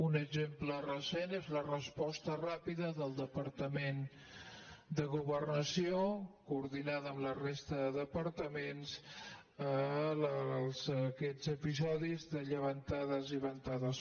un exemple recent és la resposta ràpida del departament de governació coordinada amb la resta de departaments a aquests episodis de llevantades i ventades